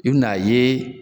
I bɛ na ye.